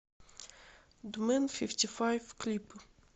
дмэн фифти файв клипы